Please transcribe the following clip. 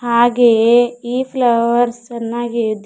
ಹಾಗೆಯೇ ಈ ಫ್ಲವರ್ಸ್ ಚೆನ್ನಾಗಿ ಇದೆ.